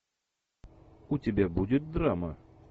у тебя будет драма